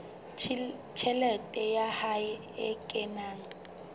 tjhelete ya hae e kenang